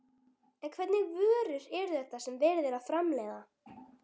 En hvernig vörur eru þetta sem verið er að framleiða?